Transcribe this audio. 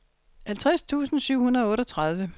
halvtreds tusind syv hundrede og otteogtredive